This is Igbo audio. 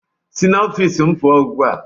Si n'ọfiisi m pụọ ugbu a!